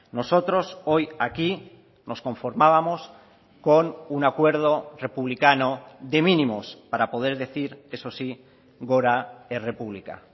nosotros hoy aquí nos conformábamos con un acuerdo republicano de mínimos para poder decir eso sí gora errepublica